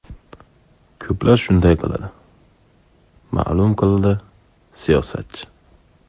Ko‘plar shunday qiladi”, ma’lum qildi siyosatchi.